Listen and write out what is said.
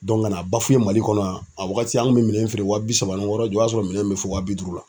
ka na mali kɔnɔ yan , a wagati an kun be minɛn feere wa bi saba ni wɔɔrɔ ja o y'a sɔrɔ minɛn min bɛ fɔ waa bi duuru la.